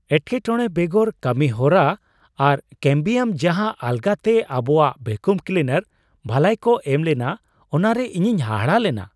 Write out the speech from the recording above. ᱮᱴᱠᱮᱼᱴᱚᱬᱮ ᱵᱮᱜᱚᱨ ᱠᱟᱹᱢᱤ ᱦᱚᱨᱟ ᱟᱨ ᱠᱮᱹᱢᱵᱤᱭᱟᱢ ᱡᱟᱦᱟᱸ ᱟᱞᱜᱟᱛᱮ ᱟᱵᱚᱣᱟᱜ ᱵᱷᱮᱠᱩᱢ ᱠᱞᱤᱱᱟᱨ ᱵᱷᱟᱹᱞᱟᱹᱭ ᱠᱚ ᱮᱢ ᱞᱮᱱᱟ ᱚᱱᱟᱨᱮ ᱤᱧᱤᱧ ᱦᱟᱦᱟᱲᱟᱜ ᱞᱮᱱᱟ ᱾